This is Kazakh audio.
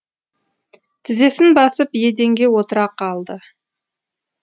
тізесін басып еденге отыра қалды